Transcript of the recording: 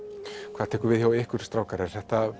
hvað tekur við hjá ykkur strákar er þetta